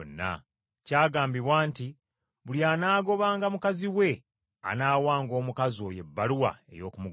Kyagambibwa nti, ‘Buli anaagobanga mukazi we, anaawanga omukazi oyo ebbaluwa ey’okumugoba.’